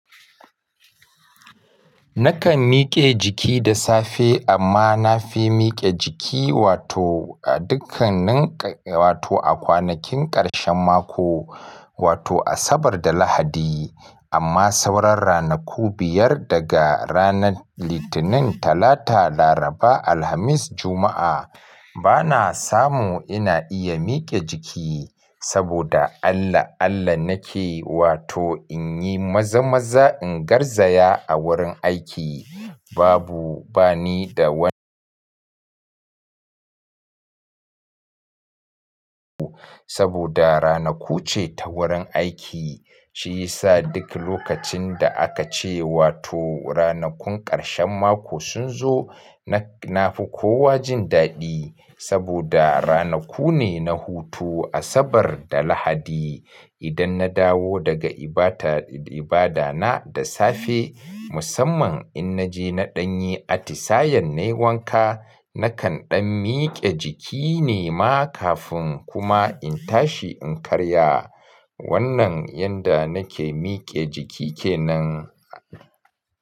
Nakan mike jiki da safe amma na fi mike jiki wato a dukkan nan wato a kwanakin karshen mako wato Asabar da Lahadi. Amma sauran ranaku biyar daga ranar Litinin, Talata, Laraba, Alhamis, Juma'a bana samu ina iya mike jiki saboda Allah Allah nake wato in yi maza-maza in garzaya a wurin aiki babu bani da wanda saboda ranaku ce ta wurin aiki. Shi yasa duk lokacin da aka ce wato ranakun karshen mako sun zo na fi kowa jin daɗi saboda ranaku ne na hutu Asabar da Lahadi. Idan na dawo daga ibada na da safe musamman in naje na ɗanyi atisayen nayi wanka nakan ɗan mike jiki nema kafin kuma in tashi in karya. Wannan yanda nake mike jiki kenan.